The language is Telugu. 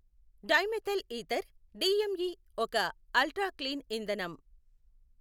డైమెథైల్ ఈథర్ డిఎంఈ ఒక అల్ట్రా క్లీన్ ఇంధనం.